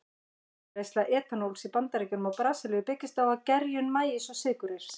Framleiðsla etanóls í Bandaríkjunum og Brasilíu byggist á gerjun maís og sykurreyrs.